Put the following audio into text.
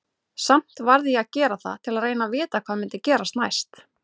Samt varð ég að gera það til að reyna að vita hvað myndi gerast næst.